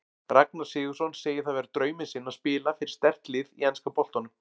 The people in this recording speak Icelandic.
Ragnar Sigurðsson segir það vera drauminn sinn að spila fyrir sterkt lið í enska boltanum.